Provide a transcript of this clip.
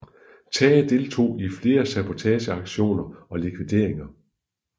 Tage deltog i flere sabotageaktioner og likvideringer